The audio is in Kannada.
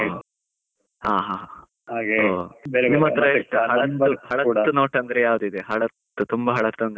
ಹಾ ಹಾ, ಹಳತ್ತು note ಅಂದ್ರೆ ಯಾವ್ದು ಇದೆ, ಹಳತ್ತು ತುಂಬಾ ಹಳೆತ್ತು ಅಂದ್ರೆ.